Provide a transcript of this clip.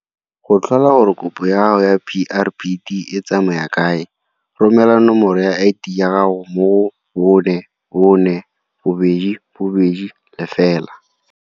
Go tlhola gore kopo ya gago ya PrPD e tsamaya kae, romela nomoro ya ID ya gago mo go 44220.